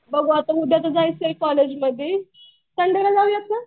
बघू आता उद्या तर जायचंय कॉलेजला बी संडेला जाऊयात का?